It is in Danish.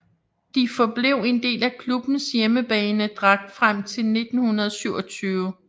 De forblev en del af klubbens hjemmebanedragt frem til 1927